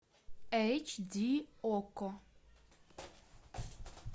эйч ди окко